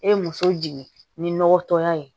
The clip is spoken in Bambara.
E ye muso jigin ni nɔgɔtɔya ye